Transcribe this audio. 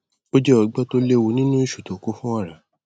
ó jẹ ọgbẹ tí ò léwu nínú ìṣù tó kún fún ọrá